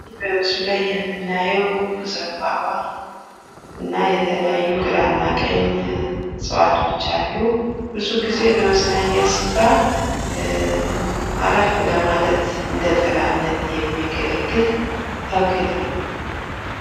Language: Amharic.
በምስሉ ላይ የምናየው ዘምባባ እና የተለያዩ ግራ እና ቀኝ እፅዋቶች አሉ ። ብዙ ጊዜ በመዝናኛ ስፍራ አረፍ ለማለት እንደ ጥላነት የሚያገለግል ተክል ነው ።